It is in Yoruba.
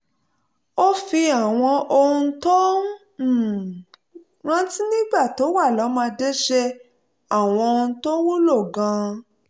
ó fi àwọn ohun tó um rántí nígbà tó wà lọ́mọdé ṣe àwọn oúnjẹ tó wúlò gan-an